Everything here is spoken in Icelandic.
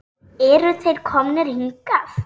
Eru þeir komnir hingað?